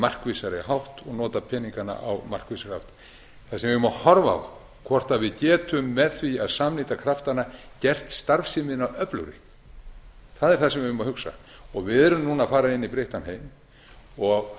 markvissari hátt og nota peningana á markvissan hátt það sem við eigum að horfa á hvort við getum með því að samnýta kraftana gert starfsemina öflugri það er það sem við eigum að hugsa við erum núna að fara inn í breyttan heim